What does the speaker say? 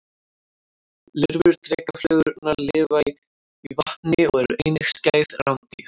Lirfur drekaflugurnar lifa í vatni og eru einnig skæð rándýr.